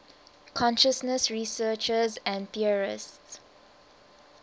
consciousness researchers and theorists